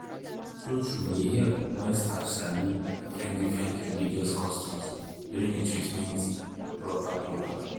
true-true e help wen staff sabi different diffrent religious customs during di treatment proper proper.